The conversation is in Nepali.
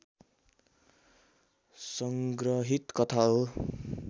संग्रहित कथा हो